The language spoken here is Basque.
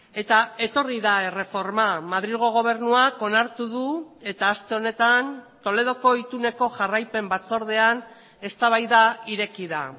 eta etorri da erreforma madrilgo gobernuak onartu du eta aste honetan toledoko ituneko jarraipen batzordean eztabaida ireki da